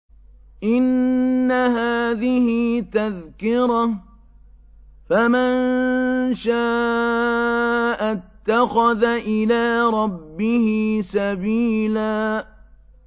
إِنَّ هَٰذِهِ تَذْكِرَةٌ ۖ فَمَن شَاءَ اتَّخَذَ إِلَىٰ رَبِّهِ سَبِيلًا